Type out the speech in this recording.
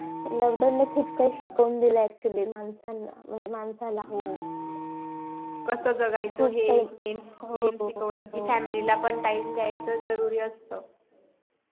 lockdown नि खूप काही शिकून दिल actually माणसाला म्हणजे माणसाला कस जगायचं हे main शिकवलं family ला पण time दयायचा जरुरी असत